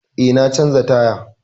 Eh, na canza taya.